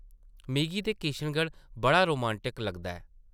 मिगी ते किशनगढ़ बड़ा रोमांटक लगदा ऐ ।